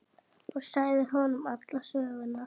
Hún sagði honum alla söguna.